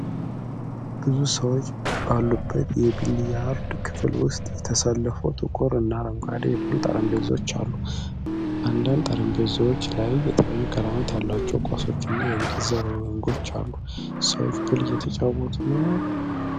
ብዙ ሰዎች ባሉበት የቢሊያርድ ክፍል ውስጥ የተሰለፉ ጥቁር እና አረንጓዴ የፑል ጠረጴዛዎች አሉ። አንዳንድ ጠረጴዛዎች ላይ የተለያዩ ቀለም ያላቸው ኳሶች እና የእንጨት ዘንጎች አሉ። ሰዎች ፑል እየተጫወቱ ነው?